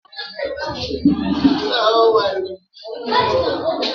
Ada lara ezumike nká na-ụlọ ọrụ akụ azụmahịa.